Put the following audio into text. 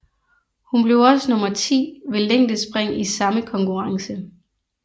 Hun blev også nummer 10 ved længdespring i samme konkurrence